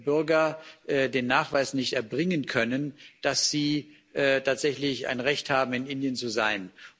Bürger den Nachweis nicht erbringen können, dass sie tatsächlich ein Recht haben, in Indien zu sein.